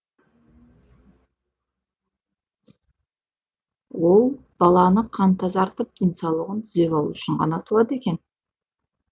ол баланы қан тазартып денсаулығын түзеп алу үшін ғана туады екен